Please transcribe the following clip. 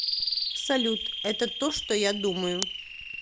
салют это то что я думаю